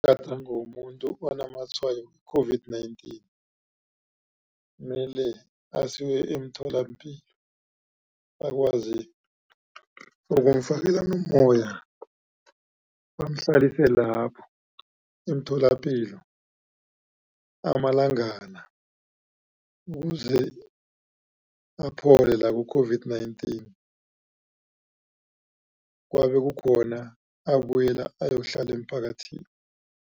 womuntu onamatshwayo we-COVID-19 mele asiwe emtholapilo bakwazi ukumfakela nommoya bamhlalise lapho emtholapilo amalangana ukuze aphole la ku-COVID-19 kwabe kukhona abuyela ayokuhlala emphakathini.